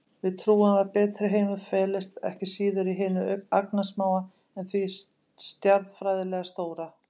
Við trúum að betri heimur felist ekki síður í hinu agnarsmáa en því stjarnfræðilega stóra.